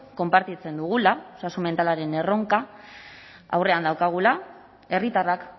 konpartitzen dugula osasun mentalaren erronka aurrean daukagula herritarrak